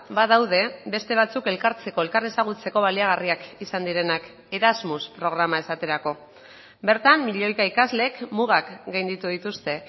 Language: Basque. badaude beste batzuk elkartzeko elkar ezagutzeko baliagarriak izan direnak erasmus programa esaterako bertan milioika ikaslek mugak gainditu dituzte